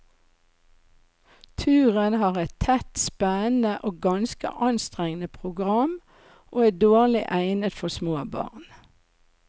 Turen har et tett, spennende og ganske anstrengende program, og er dårlig egnet for små barn.